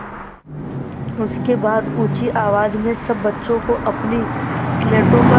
उसके बाद ऊँची आवाज़ में सब बच्चों को अपनी स्लेटों पर